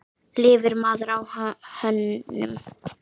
Lifir maður á hönnun?